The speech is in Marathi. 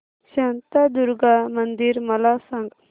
शांतादुर्गा मंदिर मला सांग